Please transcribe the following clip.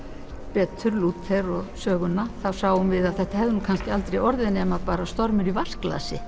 betur Lúther og söguna sáum við að þetta hefði aldrei orðið nema stormur í vatnsglasi